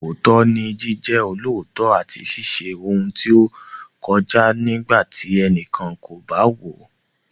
Òótọ́ ni Jíjẹ́ olóòótọ́ àti ṣíṣe ohun tí ó tọ́ kódà nígbà tí ẹnikẹ́ni kò bá wò ó.